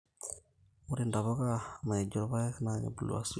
Ore ntapuka naijo irpaek na kebulu asioki